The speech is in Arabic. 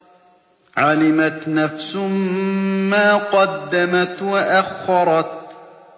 عَلِمَتْ نَفْسٌ مَّا قَدَّمَتْ وَأَخَّرَتْ